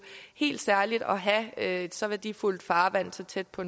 helt særligt at have et så værdifuldt farvand så tæt på